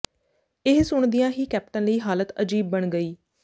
ਇਹ ਸੁਣਦਿਆਂ ਹੀ ਕੈਪਟਨ ਲਈ ਹਾਲਤ ਅਜੀਬ ਬਣ ਗਈ